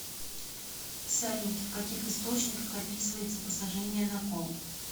салют в каких источниках описывается посажение на кол